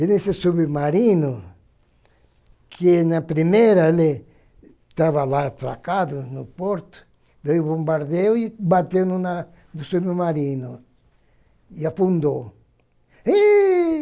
E nesse submarino, que na primeira ele estava lá atracado no porto, veio bombardeou e bateu no na no submarino e afundou. Êh